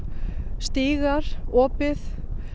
stígar opið